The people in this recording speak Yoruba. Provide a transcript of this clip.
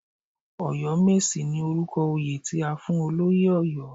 Ọ̀yọ́mèsì ni orúkọ oyè, tí a fún olóyè Ọ̀yọ́.